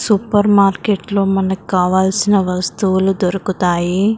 super మార్కెట్లో మనకి కావాల్సిన వస్తువులు దొరకతాయి --